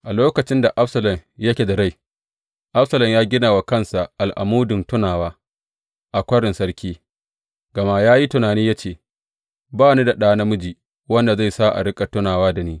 A lokacin da Absalom yake da rai, Absalom ya gina wa kansa al’amudin tunawa, a Kwarin Sarki, gama ya yi tunani ya ce, Ba ni da ɗa namiji wanda zai sa a riƙa tunawa da ni.